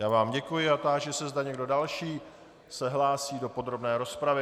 Já vám děkuji a táži se, zda někdo další se hlásí do podrobné rozpravy.